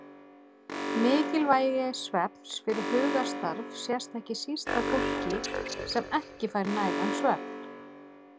Mikilvægi svefns fyrir hugarstarf sést ekki síst á fólki sem ekki fær nægan svefn.